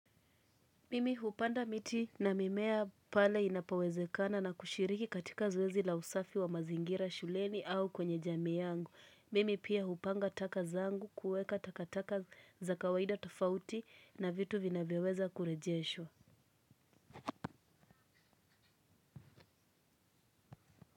Mimi hupanda miti na mimea pale inapowezekana na kushiriki katika zoezi la usafi wa mazingira shuleni au kwenye jamii yangu. Mimi pia hupanga taka zangu kuweka takataka za kawaida tofauti na vitu vinavyoweza kurejeshwa.